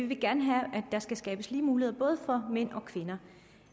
vil gerne have at der skal skabes lige muligheder for mænd og kvinder